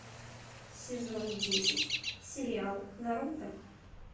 сезон десять сериал наруто